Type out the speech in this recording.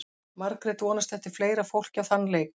Margrét vonast eftir fleira fólki á þann leik.